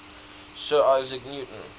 sir isaac newton